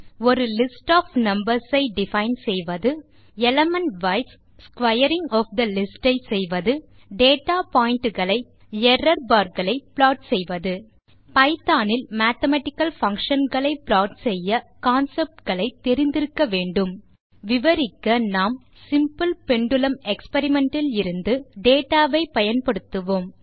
ஒரு list of numbers ஐ define செய்வது element wise squaring of the list ஐ செய்வது டேட்டா பாயிண்ட் களை ப்ளாட் செய்வது எரார்பார் களை ப்ளாட் செய்வது பைத்தோன் இல் மேத்தமேட்டிக்கல் பங்ஷன் களை ப்ளாட் செய்ய கான்செப்ட் களை தெரிந்து இருக்க வேண்டும் விவரிக்க நாம் சிம்பிள் பெண்டுலும் எக்ஸ்பெரிமெண்ட் இலிருந்து டேட்டா வை பயன்படுத்துவோம்